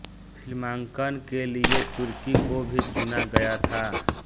फ़िल्मांकन के लिये तुर्की को भी चुना गया था